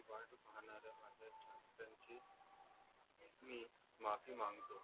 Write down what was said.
मी माफी मांगतो